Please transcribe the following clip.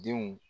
Denw